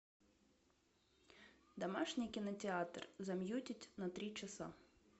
домашний кинотеатр замьютить на три часа